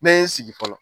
Ne ye n sigi fɔlɔ